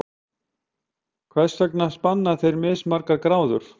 Hvers vegna spanna þeir mismargar gráður?